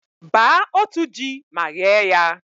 baa otu ji ma ghee ya.